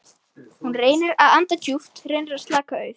Hún reynir að anda djúpt, reynir að slaka- auð